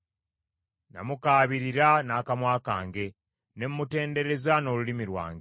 Namukaabirira n’akamwa kange, ne mutendereza n’olulimi lwange.